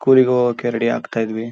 ಕೂಲಿಗ್ ಹೋಗೋಕೆ ರೆಡಿ ಆಗ್ತಾ ಇದ್ವಿ.